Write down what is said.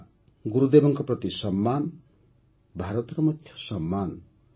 ଏହା ଗୁରୁଦେବଙ୍କ ସମ୍ମାନ ଭାରତର ମଧ୍ୟ ସମ୍ମାନ